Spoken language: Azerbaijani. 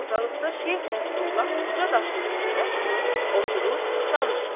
Ortaliqda Şeyx Nəsrullah uca daşın üstünə çıxıb, oturub danışır.